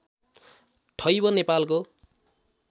ठैब नेपालको